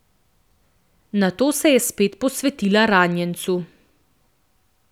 Nato se je spet posvetila ranjencu.